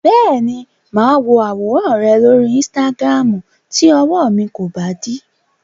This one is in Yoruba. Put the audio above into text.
Bẹ́ẹ̀ni, máa wo àwòràn rẹ lóri Instagram tí ọwọ mi kò bá dí.